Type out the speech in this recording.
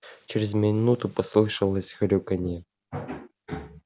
через минуту послышалось хрюканье